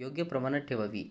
योग्य प्रमाणात ठेवावी